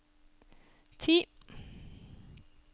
ti